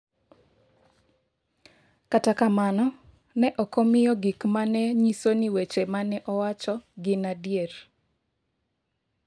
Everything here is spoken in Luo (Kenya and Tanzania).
Kata kamano, ne ok omiyo gik ma ne nyiso ni weche ma ne owacho gin adier.